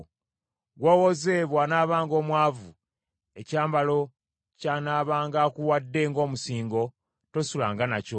Gw’owoze bw’anaabanga omwavu, ekyambalo ky’anaabanga akuwadde ng’omusingo, tosulanga nakyo.